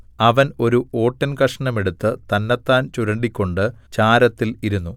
അവൻ ഒരു ഓട്ടിൻകഷണം എടുത്ത് തന്നെത്താൻ ചുരണ്ടിക്കൊണ്ട് ചാരത്തിൽ ഇരുന്നു